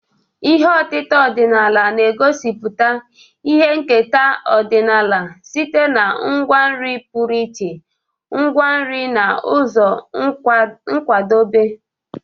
Ihe otita ọdịnala na-egosipụta ihe nketa ọdịnala site na ngwa nri pụrụ iche, ngwa nri na ụzọ nkwadebe.